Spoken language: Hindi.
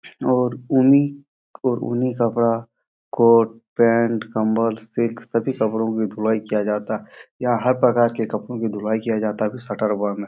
और उन्नी और उन्नी कपड़ा कोट पैंट कम्बल सिल्क सभी कपड़ो की धुलाई किया जाता यहाँ हर प्रकार के कपड़ो की धुलाई किया जाता है फिर शटर बंद --